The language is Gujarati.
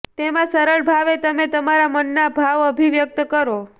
તેમાં સરળ ભાવે તમે તમારા મનના ભાવ અભિવ્યક્ત કરો